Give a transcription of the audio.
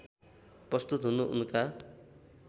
प्रस्तुत हुनु उनका